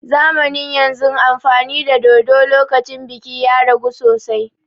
Zamanin yanzun amfani da dodo lokacin biki ya ragu sosai